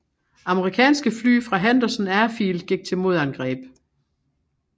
Amerikanske fly fra Henderson Airfield gik til modangreb